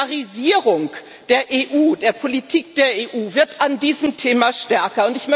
Die Polarisierung der EU, der Politik der EU, wird bei diesem Thema stärker.